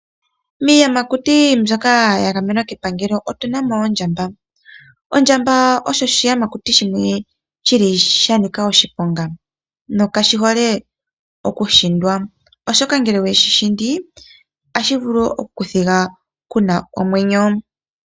Miiyamakuti mbyoka ya gamwenwa kepangelo otuna mo ondjamba. Ondjamba osho oshiyamakuti shimwe shili sha nika oshiponga, nokashi hole okuhindwa, oshoka ngele oweshi hindi otashi vulu okuku thiga kuuna omwenyo.